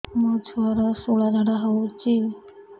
ମୋ ଛୁଆର ସୁଳା ଝାଡ଼ା ହଉଚି